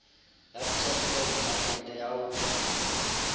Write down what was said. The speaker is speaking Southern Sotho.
ya turfloop mekete ya ho